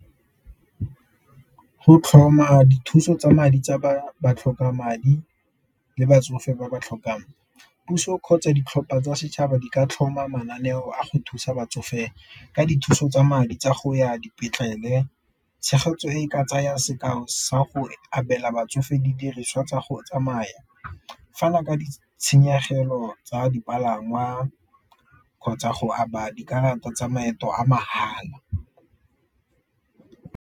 Go tlhoma dithuso tsa madi tsa ba ba tlhokang madi le batsofe ba ba tlhokang puso kgotsa ditlhopha tsa setšhaba di ka tlhoma mananeo a go thusa batsofe ka dithuso tsa madi tsa go ya dipetlele, tshegetso e ka tsaya sekao sa go abela batsofe didiriswa tsa go tsamaya, fana ka di tshenyegelo tsa dipalangwa kgotsa go aba dikarata tsa maeto a mahala.